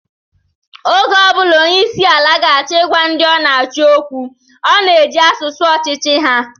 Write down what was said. Oge ọ bụla onyeisiala ga-acho ịgwa ndị ọ na-achị okwu, ọ na-eji asụsụ ọchịchị ha.